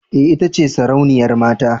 Ee, ita ce sarauniyar mata.